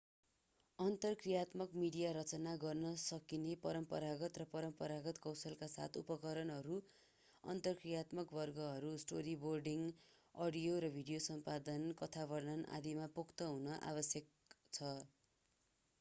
अन्तर्क्रियात्मक मिडिया रचना गर्न सिक्न परम्परागत र परम्परागत कौशलका साथै उपकरणहरू अन्तर्क्रियात्मक वर्गहरू स्टोरीबोर्डिङ अडियो र भिडियो सम्पादन कथा वर्णन आदि मा पोख्त हुन आवश्यक छ।